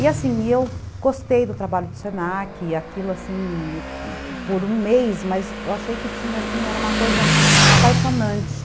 E assim, eu gostei do trabalho do Senac, aquilo assim, por um mês, mas eu achei que tinha, assim, era uma coisa apaixonante.